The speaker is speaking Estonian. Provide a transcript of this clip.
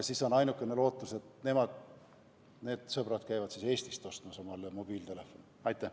Siis on ainukene lootus, et need sõbrad käivad siis Eestist endale mobiiltelefoni ostmas.